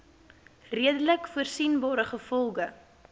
redelik voorsienbare gevolge